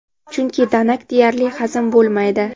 chunki danak deyarli hazm bo‘lmaydi.